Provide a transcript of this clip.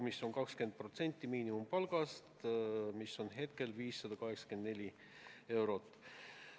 See on 20% miinimumpalgast, mis on praegu 584 eurot.